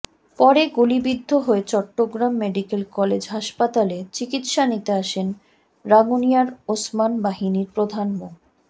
পরে গুলিবিদ্ধ হয়ে চট্টগ্রাম মেডিকেল কলেজ হাসপাতালে চিকিৎসা নিতে আসেন রাঙ্গুনিয়ার ওসমান বাহিনীর প্রধান মো